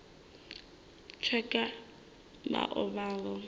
tsheke vha o vha vho